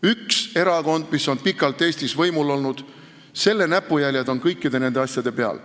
Üks erakond, kes on pikalt Eestis võimul olnud, tema näpujäljed on kõikide nende asjade peal.